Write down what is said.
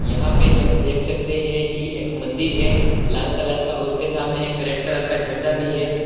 यहां पे हम देख सकते हैं कि एक मंदिर है लाल कलर का उसके सामने एक रेड कलर का झंडा भी है।